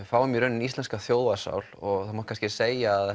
fáum í rauninni íslenska þjóðarsál og það má kannski segja að